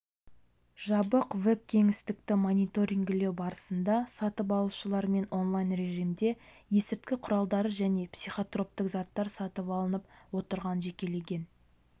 жабық вэб-кеңістікті мониторингілеу барысында сатып алушылармен онлайн-режимде есірткі құралдары және психотроптық заттар сатып алынып отырған жекелеген